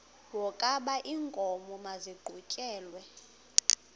wokaba iinkomo maziqhutyelwe